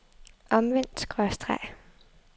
omvendt skråstreg